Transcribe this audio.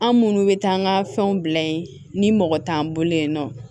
An minnu bɛ taa an ka fɛnw bila yen ni mɔgɔ t'an bolo yen nɔ